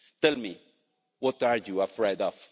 Tell me, what are you afraid of?